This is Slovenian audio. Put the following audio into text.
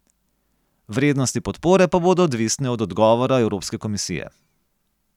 Vrednosti podpore pa bodo odvisne od odgovora Evropske komisije.